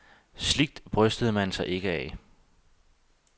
Sligt brystede man sig ikke af.